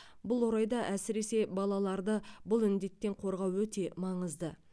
бұл орайда әсіресе балаларды бұл індеттен қорғау өте маңызды